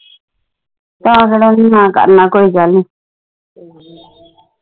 ਤਾ ਥੋੜ੍ਹਾ ਆਂਦੀ ਹੀ ਨਾ ਕਰਨਾ ਕੋਈ ਗੱਲ ਨਹੀਂ